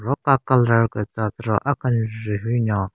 Ro ka colour gü tsü atero akenjvu hyu nyon.